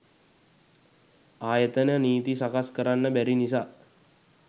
ආයතන නීති සකස් කරන්න බැරි නිසා